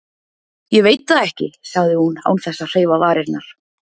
Ég veit það ekki, sagði hún án þess að hreyfa varirnar.